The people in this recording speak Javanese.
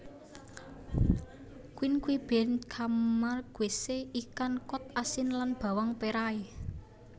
Quinquebine Camarguese ikan kod asin lan bawang perai